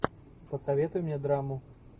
посоветуй мне драму